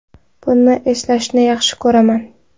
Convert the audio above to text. Buni eslashni yaxshi ko‘raman.